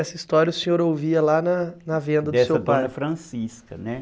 Essa história o senhor ouvia lá na na venda do seu pai... Dessa para a Francisca, né?